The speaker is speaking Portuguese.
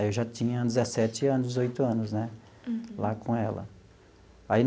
Eu já tinha dezessete anos, dezoito anos né lá com ela.